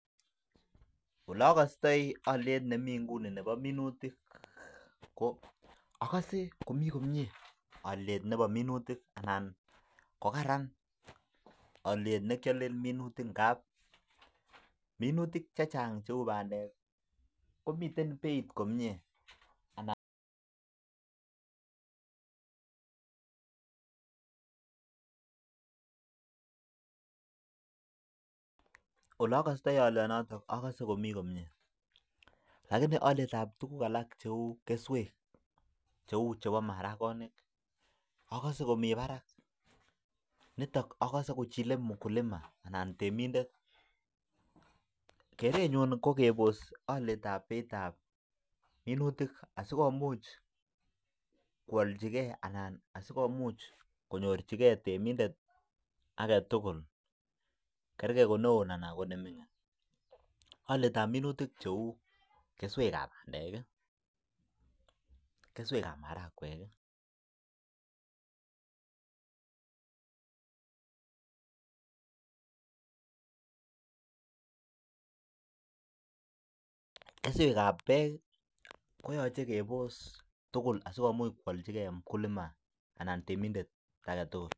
Mie komnye ako kararan ako minutik cheuu bandek komii beit kommyee lakini alet ab keswek komii barak, keswek ab marakwek bandek ak bek koyoche keboss